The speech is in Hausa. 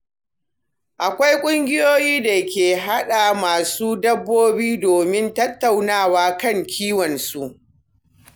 Akwai ƙungiyoyi da ke haɗa masu dabbobi domin tattaunawa kan kiwonsu.